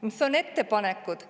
Mis on ettepanekud?